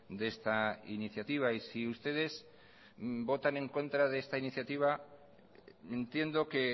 de esta iniciativa y si ustedes votan en contra de esta iniciativa entiendo que